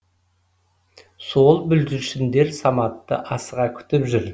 сол бүлдіршіндер саматты асыға күтіп жүр